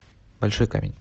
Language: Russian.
большой камень